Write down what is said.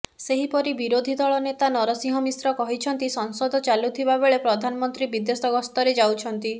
ସେହିପରି ବିରୋଧୀ ଦଳ ନେତା ନରସିଂହ ମିଶ୍ର କହିଛନ୍ତି ସଂସଦ ଚାଲୁଥିବା ବେଳେ ପ୍ରଧାନମନ୍ତ୍ରୀ ବିଦେଶ ଗସ୍ତରେ ଯାଉଛନ୍ତି